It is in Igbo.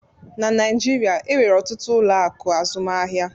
Na Naijiria, enwere ọtụtụ ụlọ akụ azụmaahịa